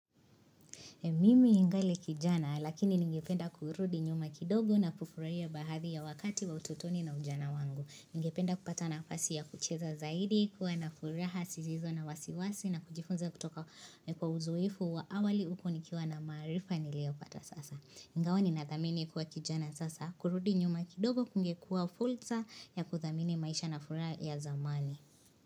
Mimi ningali kijana, lakini ningependa kurudi nyuma kidogo na kufurahia baharia wakati wa ututoni na ujana wangu. Ningependa kupata nafasi ya kucheza zaidi, kuwa na furaha, sizizo na wasiwasi na kujifunza kutoka kwa uzoefu wa awali huku nikiwa na maarifa niliopata sasa. Ingawa ninadhamini kuwa kijana sasa, kurudi nyuma kidogo, kungekuwa fulsa ya kudhamini maisha na furaha ya zamani.